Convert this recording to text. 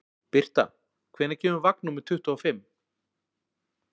Birta, hvenær kemur vagn númer tuttugu og fimm?